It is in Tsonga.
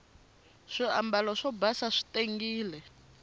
swiambalo swo basa swi tengile